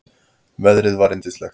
Veðrið var yndislegt.